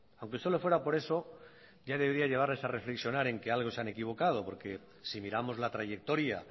aunque solo fuera por eso ya debería llevarles a reflexionar en qué algo se han equivocado porque si miramos la trayectoria